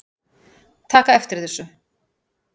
taka eftir þessu